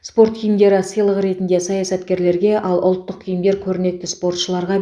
спорт киімдері сыйлық ретінде саясаткерлерге ал ұлттық киімдер көрнекті спортшыларға